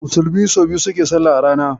Musulmai sau biyar suke salla a rana.